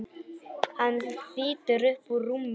Hann þýtur upp úr rúminu.